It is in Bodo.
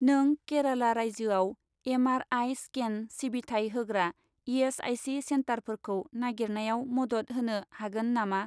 नों केराला रायजोआव एम.आर.आइ. स्केन सिबिथाय होग्रा इ.एस.आइ.सि. सेन्टारफोरखौ नागिरनायाव मदद होनो हागोन नामा?